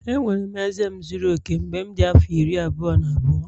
Enwere m eze m zuru oke mgbe m dị afọ iri abụọ na abụọ